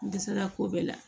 N dɛsɛra ko bɛɛ la